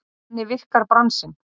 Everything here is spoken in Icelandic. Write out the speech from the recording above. Þannig virkar bransinn.